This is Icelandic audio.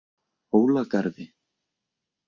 Hólagarði